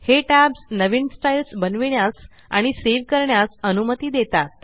हे टॅब्स नवीन स्टइल्स बनविण्यास आणि सेव करण्यास अनुमती देतात